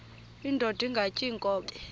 indod ingaty iinkobe